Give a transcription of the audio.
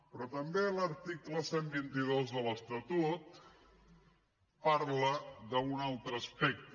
però també l’article cent i vint dos de l’estatut parla d’un altre aspecte